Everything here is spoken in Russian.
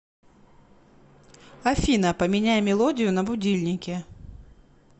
афина поменяй мелодию на будильнике